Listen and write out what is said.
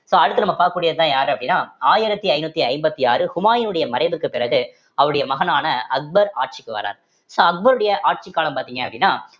so அடுத்து நம்ம பார்க்கக்கூடியதுதான் யாரு அப்படின்னா ஆயிரத்தி ஐந்நூத்தி ஐம்பத்தி ஆறு ஹுமாயினுடைய மறைவுக்கு பிறகு அவருடைய மகனான அக்பர் ஆட்சிக்கு வர்றார் so அக்பருடைய ஆட்சிக் காலம் பார்த்தீங்க அப்படின்னா